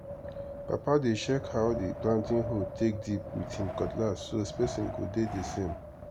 papa dey check how the planting hole take dip with him cutlass so spacing go dey the same.